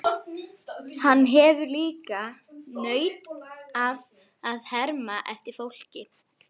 Hann hefur líka nautn af að herma eftir fólki.